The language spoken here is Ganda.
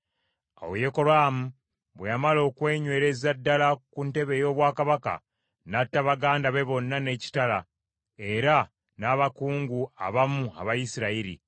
Awo Yekolaamu bwe yamala okwenywereza ddala ku ntebe ye ey’obwakabaka, n’atta baganda be bonna n’ekitala, era n’abakungu abamu aba Isirayiri.